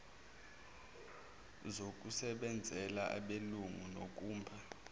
zokusebenzela abelungu nokumba